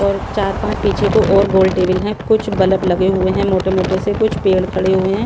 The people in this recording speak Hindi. और चार पांच पीछे को और गोल टेबल हैं कुछ बल्ब लगे हुए हैं मोटे-मोटे से कुछ पेड़ खड़े हुए हैं।